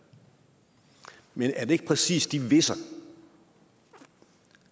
men er det ikke præcis de hviser